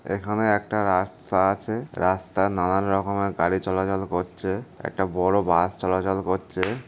এখানে একটা রাস্তা আছে। রাস্তায় নানান রকমের গাড়ি চলাচল করছে। একটা বড় বাস চলাচল করছে ।